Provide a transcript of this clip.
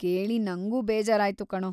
ಕೇಳಿ ನಂಗೂ ಬೇಜಾರಾಯ್ತು ಕಣೋ.